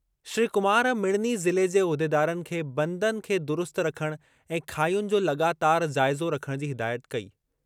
श्री कुमार मिड़नी ज़िले जे उहिदेदारनि खे बंदनि खे दुरुस्त रखणु ऐं खाहियुनि जो लॻातारि जाइज़ो रखणु जी हिदायत कई।